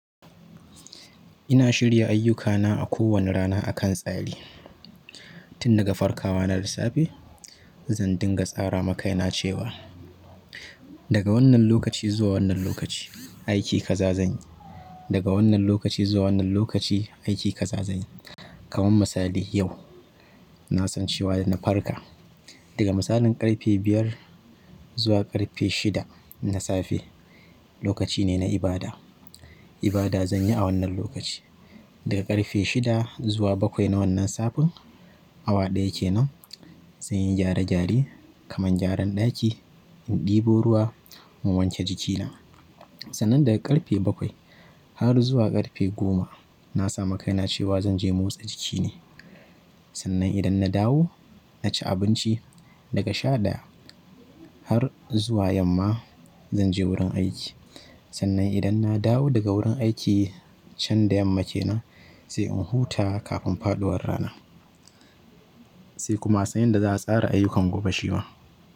Ina shirya ayyukana a kowane rana akan tsari. Tin daga farkawa na da safe zan dinga tsara ma kaina cewa daga wannan lokaci zuwa wannan lokaci aiki kaza zanyi, daga wannan lokaci zuwa wannan lokaci aiki kaza zanyi. Kaman misali yau nasan cewa da na farka daga misalin ƙarfe biyar zuwa ƙarfe shida na safe lokaci ne na ibada. Ibada zanyi a wannan lokaci. Daga ƙarfe shida zuwa bakwai na wannan safen awa ɗaya kenan zanyi gyare gyare kaman gyaran ɗaki, in ɗebo ruwa, in wanke jikina. Sannan daga ƙarfe bakwai har zuwa ƙarfe goma nasa makaina cewa zanje motsa jiki ne. Sannan idan na dawo naci abinci daga shaɗaya har zuwa yamma zanje wurin aiki. Sannan idan na dawo daga wurin aiki can da yamma kenan sai in huta kafin faɗuwar rana sai kuma a san inda za a tsara ayukan gobe shi ma.